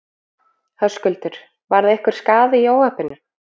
Höskuldur: Varð einhver skaði í óhappinu?